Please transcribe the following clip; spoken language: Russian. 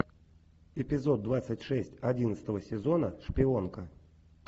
эпизод двадцать шесть одиннадцатого сезона шпионка